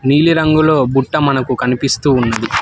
నీలిరంగులో బుట్ట మనకు కనిపిస్తూ ఉన్నది.